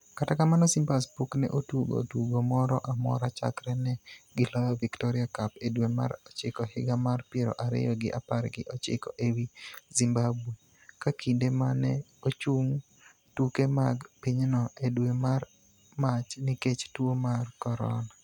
Kata kamano, Simbas pok ne otugo tugo moro amora chakre ne giloyo Victoria Cup e dwe mar ochiko higa mar piero ariyo gi apar gi ochiko e wi Zimbabwe, ka kinde ma ne ochung tuke mag pinyno e dwe mar Mach nikech tuo mar Corona.